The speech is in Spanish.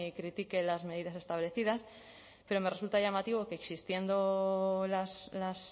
critique las medidas establecidas pero me resulta llamativo que existiendo las